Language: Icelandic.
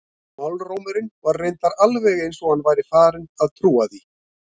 En málrómurinn var reyndar alveg eins og hann væri farinn að trúa því.